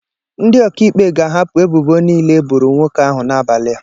Ndị ọkaikpe ga-ahapụ ebubo niile e boro nwoke ahụ n'abalị a.